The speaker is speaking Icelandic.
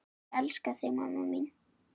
Ég elska þig mamma mín.